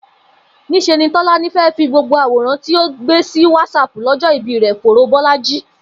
Nís̩e ni Tó̩lání fé̩ fi gbogbo àwòràn tí ó gbé sí Whatsapp ló̩jó̩ ìbí rè̩ foró Bó̩lájí